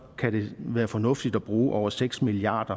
kan det være fornuftigt at bruge over seks milliard